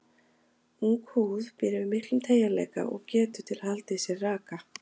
Ung húð býr yfir miklum teygjanleika og getu til að halda í sér raka.